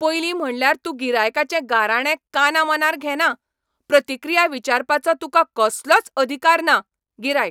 पयलीं म्हणल्यार तूं गिरायकांचे गाराणें कानामनार घेना, प्रतिक्रिया विचारपाचो तुका कसलोच अधिकार ना गिरायक